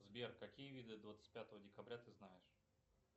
сбер какие виды двадцать пятого декабря ты знаешь